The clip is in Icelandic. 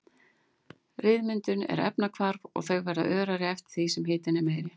Ryðmyndun er efnahvarf og þau verða örari eftir því sem hitinn er meiri.